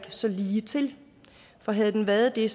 så ligetil for havde den været det